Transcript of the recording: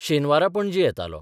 शेनवारा पणजे येतालो.